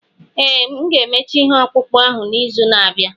Ee, m ga-emecha ihe ọkpụkpụ ahụ n'izu na-abịa.